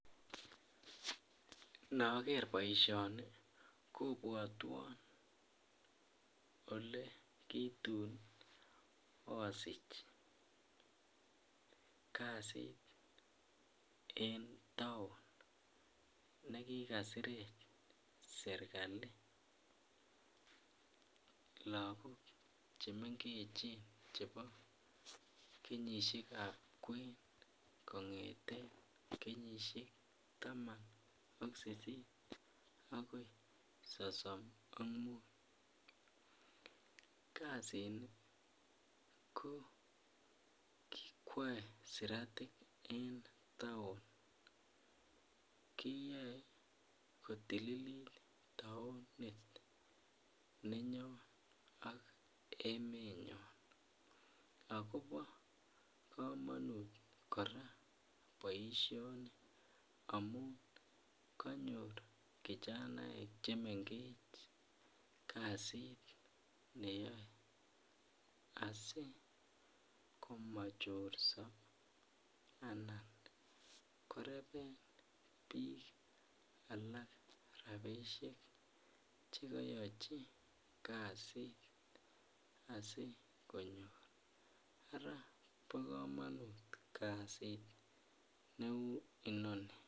Nookerr poishonii kopwatwan olekiitun asich kasiit en town olekikasirech serikalit lakok chemengechen kongetee kenyishek taman ak sisit akoi sosm ak muut kasiini ko kikwaee siratik en town ak keyoei kotililit town